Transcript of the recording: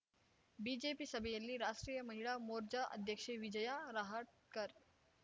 BJP ಸಭೆಯಲ್ಲಿ ರಾಷ್ಟ್ರೀಯ ಮಹಿಳಾ ಮೋರ್ಚಾ ಅಧ್ಯಕ್ಷೆ ವಿಜಯಾ ರಹಾಟ್ಕರ್